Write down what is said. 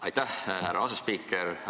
Aitäh, härra asespiiker!